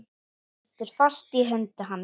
Heldur fast í hönd hans.